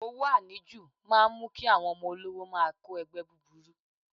Owó àníjù máa ń mú kí àwọn ọmọ olówó máa kó ẹgbẹ́ búburú.